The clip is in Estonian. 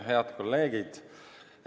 Head kolleegid!